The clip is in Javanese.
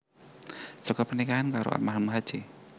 Saka pernikahan karo Almarhum Hj